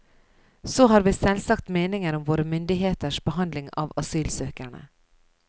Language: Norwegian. Så har vi selvsagt meninger om våre myndigheters behandling av asylsøkerne.